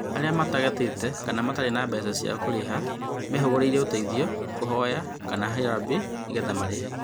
Arĩa matagatĩte kana matirĩ na mbeca cia kũrĩha mehũgũrĩire ũteithio, kũhoya kana harambee nĩgetha marĩhe